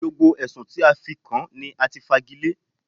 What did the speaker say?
Gbogbo Ẹ̀sùn tí a fi kàn án ní a ti fagilé.